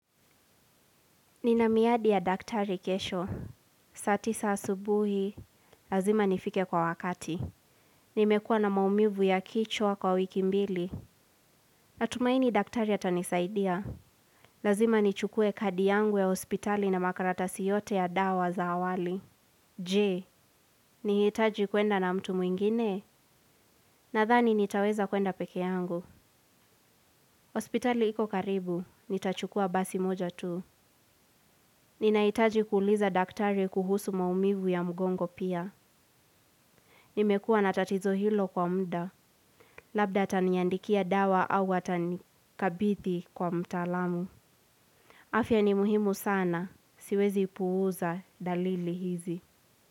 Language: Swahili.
Nina miadi ya daktari kesho. Saa tisa asubuhi, lazima nifike kwa wakati. Nimekua na maumivu ya kichwa kwa wiki mbili. Natumaini daktari atanisaidia. Lazima nichukue kadi yangu ya hospitali na makaratasi yote ya dawa za awali. Je, nihitaji kwenda na mtu mwingine. Nadhani nitaweza kuenda pekee yangu hospitali iko karibu, nitachukua basi moja tu. Ninahitaji kuuliza daktari kuhusu maumivu ya mgongo pia. Nimekua na tatizo hilo kwa muda, labda ataniandikia dawa au atanikabidhi kwa mtaalamu. Afya ni muhimu sana, siwezi puuza dalili hizi.